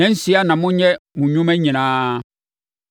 Nnansia na momfa nyɛ mo nnwuma nyinaa,